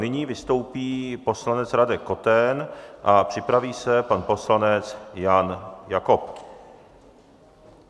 Nyní vystoupí poslanec Radek Koten a připraví se pan poslanec Jan Jakob.